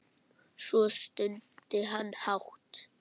Svo stundi hann hátt.